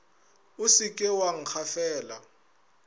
o se ke wa nkgafela